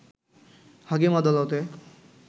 হাকিম আদালতে